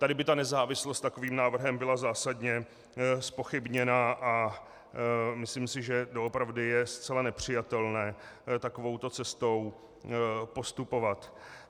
Tady by ta nezávislost takovým návrhem byla zásadně zpochybněna a myslím si, že doopravdy je zcela nepřijatelné takovouto cestou postupovat.